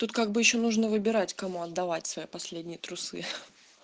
тут как бы ещё нужно выбирать кому отдавать свои последние трусы